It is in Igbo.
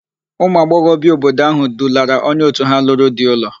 Ụmụagbọghọbịa obodo áhụ̀ dulara onye òtù ha lụrụ di ụlọ.